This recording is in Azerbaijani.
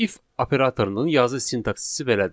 If operatorunun yazı sintaksisi belədir: